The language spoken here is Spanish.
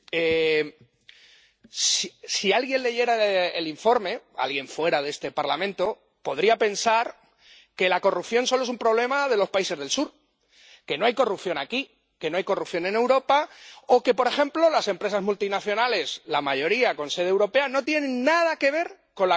Si alguien de fuera de este Parlamento leyera el informe, podría pensar que la corrupción solo es un problema de los países del Sur que no hay corrupción aquí que no hay corrupción en Europa o que, por ejemplo, las empresas multinacionales, la mayoría con sede europea, no tienen nada que ver con la corrupción en los países del Sur.